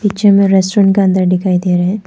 जिनमें रेस्टोरेंट के अंदर दिखाई दे रहे हैं।